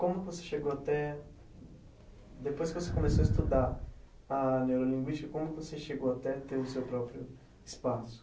Como você chegou até... Depois que você começou a estudar a neurolinguística, como você chegou até ter o seu próprio espaço?